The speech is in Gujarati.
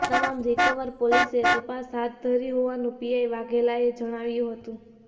જે તમામ રીકવર કરવા પોલીસે તપાસ હાથ ધરી હોવાનું પીઆઇ વાઘેલાએ જણાવ્યુ હતું